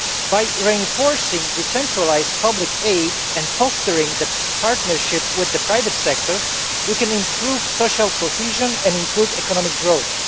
By reinforcing decentralised public aid and fostering partnership with the private sector, we can improve social cohesion and inclusive economic growth.